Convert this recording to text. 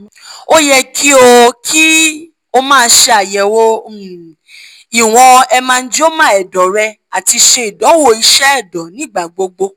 o yẹ ki o ki o maa ṣayẹwo um iwọn hemangioma ẹdọ rẹ ati ṣe idanwo iṣẹ ẹdọ nigbagbogbo